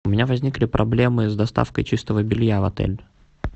у меня возникли проблемы с доставкой чистого белья в отель